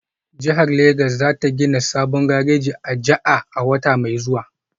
Jihar Legas za ta gina sabon gareji a Aja a wata mai zuwa